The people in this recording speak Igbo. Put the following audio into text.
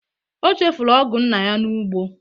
O chefụrụ ọgụ nna ya n'ugbo.